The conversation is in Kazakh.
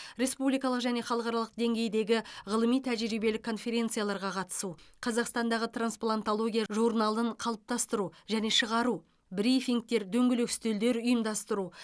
республикалық және халықаралық деңгейдегі ғылыми тәжірибелік конференцияларға қатысу қазақстандағы трансплантология журналын қалыптастыру және шығару брифингтер дөңгелек үстелдер ұйымдастыру